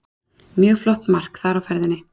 Mjög flott mark þar á ferðinni.